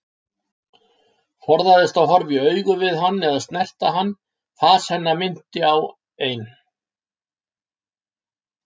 Forðaðist að horfast í augu við hann eða snerta hann, fas hennar minnti á ein